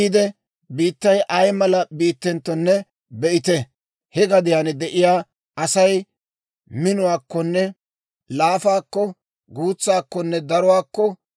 Biittay ay mala biittenttonne be'ite; he gadiyaan de'iyaa Asay minenttonne laafaantto, guutseenttonne darentto,